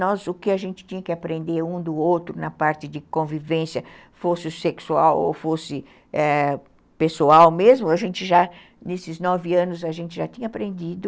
Nós, o que a gente tinha que aprender um do outro na parte de convivência, fosse sexual ou fosse ãh pessoal mesmo, a gente já, nesses nove anos, a gente já tinha aprendido.